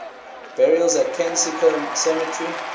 burials at kensico cemetery